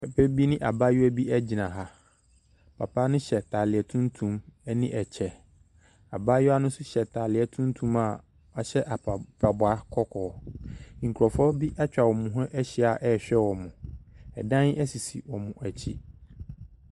Papa bi ne abaayewa bi egyina ha. Papa no hyɛ ataareɛ tuntum ɛne ɛkyɛ. Abaayewa no nso hyɛ ataade tuntum a wahyɛ mpaboa kɔkɔɔ. Nkrɔfu bi etwa ɔmu hu ehyia ɛɛhwɛ ɔmu. Ɛdan ɛsisi ɔmu ɛkyi.